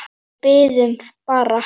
En við biðum bara.